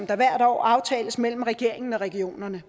der hvert år aftales mellem regeringen og regionerne